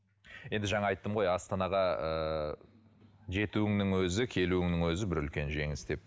енді жаңа айттым ғой астанаға ы жетуіңнің өзі келуіңнің өзі бір үлкен жеңіс деп